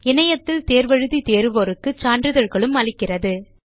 இணையத்தில் தேர்வு எழுதி தேர்வோருக்கு சான்றிதழ்களும் அளிக்கிறது